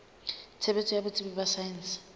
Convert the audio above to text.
tshebetso ya botsebi ba saense